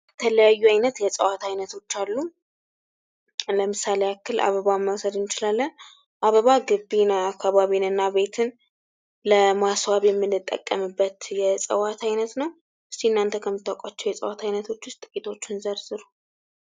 የተለያዩ አይነት የእፅዋት አይነቶች አሉ ። ለምሳሌ ያክል አበባን መውሰድ እንችላለን ። አበባ ግቢን ፣ አካባቢን እና ቤትን ለማስዋብ የምንጠቀምበት የእጽዋት አይነት ነው። እስኪ እናንተ ከምታውቁዋቸው የእጽዋት አይነቶች ውስጥ ጥቂቶቹን ዘርዝሩ ።